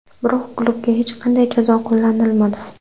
Biroq, klubga hech qanday jazo qo‘llanilmadi.